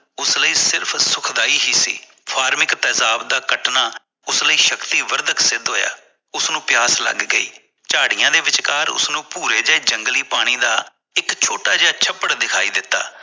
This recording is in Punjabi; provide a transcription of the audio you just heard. ਉਸ ਲਈ ਸਿਰਫ਼ ਸੁਖਦਾਈ ਫਾਰਮਿਕ ਤੇਜ਼ਾਬ ਦਾ ਕੱਟਣਾ ਉਸ ਲਈ ਸ਼ਕਤੀ ਵਰਦਕ ਸਿੱਧ ਹੋਇਆ ਉਸਨੂੰ ਪਿਆਸ ਲਗ ਗਈ ਝਾੜੀਆਂ ਦੇ ਵਿੱਚਕਾਰ ਉਸਨੂੰ ਭੂਰੇ ਜਿਹੇ ਜੰਗਲੀ ਪਾਣੀ ਦਾ ਇਕ ਛੋਟਾ ਜਿਹਾ ਛੱਪੜ ਦਿਖਾਈ ਦਿੱਤਾ